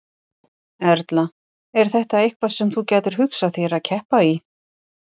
Erla: Er þetta eitthvað sem þú gætir hugsað þér að keppa í?